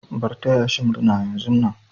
Bar taya shi murna yanzun nan.